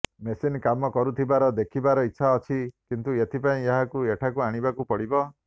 machine କାମ କରୁଥିବାର ଦେଖିବାର ଇଚ୍ଛା ଅଛି କିନ୍ତୁ ଏଥିପାଇଁ ଏହାକୁ ଏଠାକୁ ଆଣିବାକୁ ପଡିବ